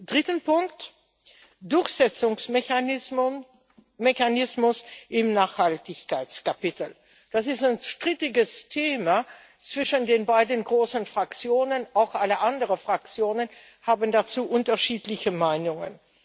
Drittens Durchsetzungsmechanismus im Nachhaltigkeitskapitel. Das ist ein strittiges Thema zwischen den beiden großen Fraktionen auch alle anderen Fraktionen haben dazu unterschiedliche Meinungen.